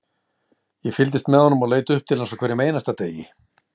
Ég fylgdist með honum og leit upp til hans á hverjum einasta degi,